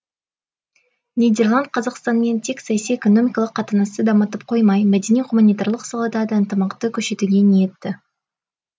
нидерланд қазақстанмен тек саяси экономикалық қатынасты дамытып қоймай мәдени гуманитарлық салада да ынтымақты күшейтуге ниетті